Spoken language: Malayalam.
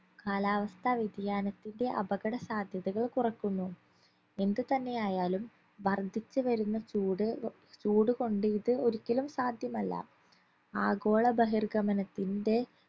കാലാവസ്ഥാ വ്യതിയാനത്തിന്റെ അപകട സാധ്യതൾ കുറക്കുന്നു എന്ത് തന്നെയായാലും വർധിച്ചു വരുന്ന ചൂട് ഏർ ചൂട് കൊണ്ട് ഇത് ഒരിക്കലും സാധ്യമല്ല ആഗോള ബഹിർഗമനത്തിന്റെ